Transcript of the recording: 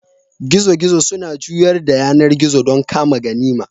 Gizo-gizo suna juyar da yanar gizo don kama ganima.